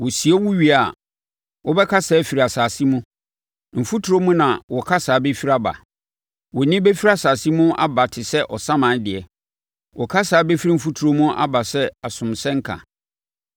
Wɔsie wo wie a, wobɛkasa afiri asase mu; mfuturo mu na wo kasa bɛfiri aba. Wo nne bɛfiri asase no mu aba te sɛ ɔsaman deɛ; wo kasa bɛfiri mfuturo mu aba sɛ asomsɛmka.